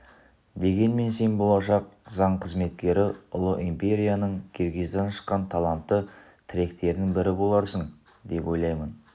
дегенмен сен болашақ заң қызметкері ұлы империяның киргиздан шыққан талантты тіректерінің бірі боларсың деп ойлаймын